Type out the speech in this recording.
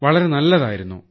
വളരെ നല്ലതായിരുന്നു